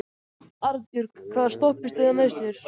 Arnbjörg, hvaða stoppistöð er næst mér?